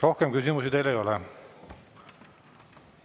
Rohkem küsimusi teile ei ole.